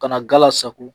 Ka na gala sago